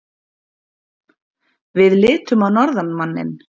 Við litum á norðanmanninn.